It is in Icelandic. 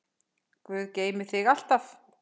Guð geymi þig alltaf.